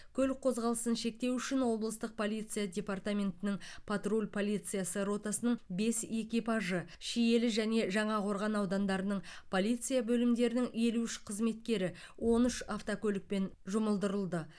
көлік қозғалысын шектеу үшін облыстық полиция департаментінің патруль полициясы ротасының бес экипажы шиелі және жаңақорған аудандарының полиция бөлімдерінің елу үш қызметкері он үш автокөлікпен жұмылдырылды